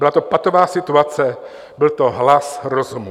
Byla to patová situace, byl to hlas rozumu.